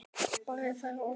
Bragi fær orðið